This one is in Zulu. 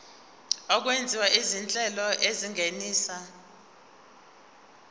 okwenziwa izinhlelo ezingenisa